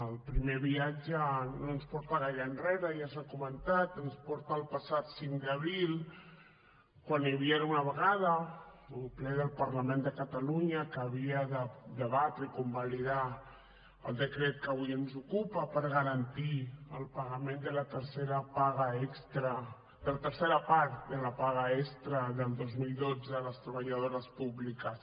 el primer viatge no ens porta gaire enrere ja s’ha comentat ens porta al passat cinc d’abril quan hi havia una vegada un ple del parlament de catalunya que havia de debatre i convalidar el decret que avui ens ocupa per garantir el pagament de la tercera part de la paga extra del dos mil dotze de les treballadores públiques